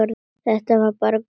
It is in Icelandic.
Þetta var bara Guðný.